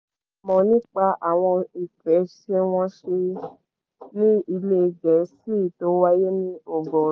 mọ̀ nípa àwọn ìfẹsẹ̀wọnsẹ̀ líì ilẹ̀ gẹ̀ẹ́sì tó wáyé ní ọgọ́rùú